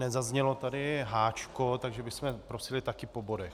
Nezaznělo tady H, takže bychom prosili také po bodech.